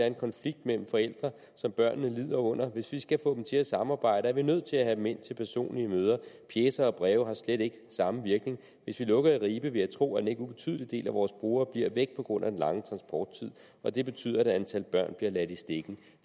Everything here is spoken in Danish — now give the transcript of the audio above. en konflikt mellem forældre som børnene lider under hvis vi skal få dem til at samarbejde er vi nødt til at have dem ind til personlige møder pjecer og breve har slet ikke samme virkning hvis vi lukker i ribe vil jeg tro at en ikke ubetydelig del af vores brugere bliver væk på grund af den lange transporttid og det betyder at et antal børn bliver lidt i stikken